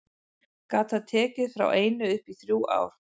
Gat það tekið frá einu upp í þrjú ár.